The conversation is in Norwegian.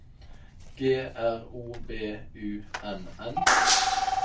G R O B U N N